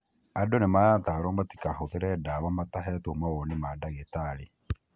Andũ nĩmaratarwo matikahũthĩre dawa matahetwo mawoni ma ndagĩtarĩ.